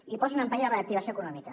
i posen en perill la reactivació econòmica